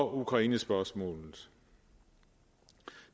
ukrainespørgsmålet